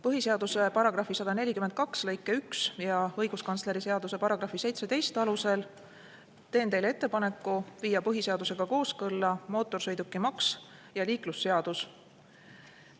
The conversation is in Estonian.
Põhiseaduse § 142 lõike 1 ja õiguskantsleri seaduse § 17 alusel teen teile ettepaneku viia põhiseadusega kooskõlla mootorsõidukimaks ja liiklusseadus.